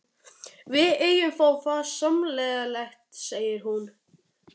Við eigum það þá sameiginlegt, segir hún.